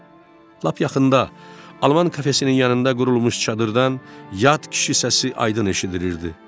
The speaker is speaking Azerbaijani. Lap yaxında Alman kafesinin yanında qurulmuş çadırdan yad kişi səsi aydın eşidilirdi.